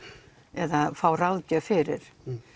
eða fá ráðgjöf fyrir